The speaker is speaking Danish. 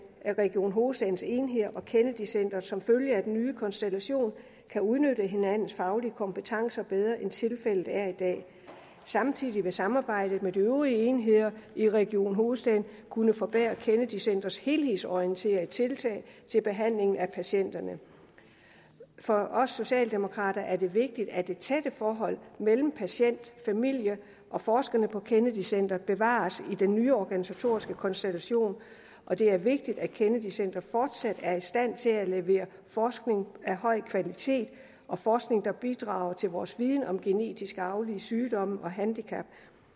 at region hovedstadens enheder og kennedy centret som følge af den nye konstellation kan udnytte hinandens faglige kompetencer bedre end tilfældet er i dag samtidig vil samarbejdet med de øvrige enheder i region hovedstaden kunne forbedre kennedy centrets helhedsorienterede tiltag til behandlingen af patienterne for os socialdemokrater er det vigtigt at det tætte forhold mellem patient familie og forskere på kennedy centret bevares i den nye organisatoriske konstellation og det er vigtigt at kennedy centret fortsat er i stand til at levere forskning af høj kvalitet og forskning der bidrager til vores viden om genetisk arvelige sygdomme og handicap